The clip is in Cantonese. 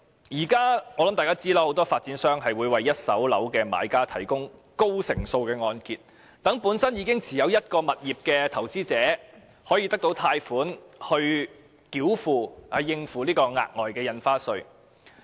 我想大家也知道，很多發展商會為一手住宅物業的買家提供高成數的按揭，讓本身已經持有物業的投資者可以獲得貸款，用以繳付額外印花稅。